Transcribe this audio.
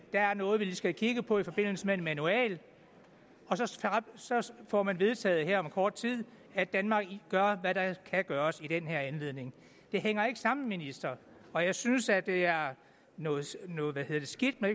er noget vi skal kigge på i forbindelse med en manual og så får man vedtaget her om kort tid at danmark gør hvad der kan gøres i den her anledning det hænger ikke sammen ministeren og jeg synes at det er noget noget skidt når